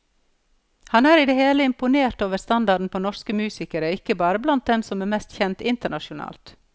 Han er i det hele imponert over standarden på norsk musikere, ikke bare blant dem som er mest kjent internasjonalt.